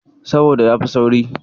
Saboda yafi sauri.